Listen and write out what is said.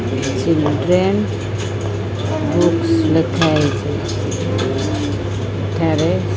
children books ଲେଖା ହେଇଚି ଏଠାରେ--